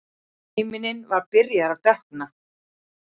Himinninn var byrjaður að dökkna.